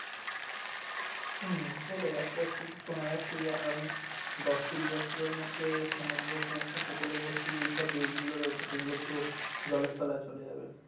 হুম সেটাই আস্তে আস্তে শোনা যাচ্ছে যে আগামী দশ কুড়ি বছরের মধ্যে সমগ্র কুউপকুল বর্তী যেই সব দেশ গুলো রয়েছে সেগুলো পুরো জলের তলায় চলে যাবে